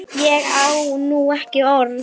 Ég á nú ekki orð!